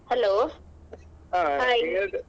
Hello .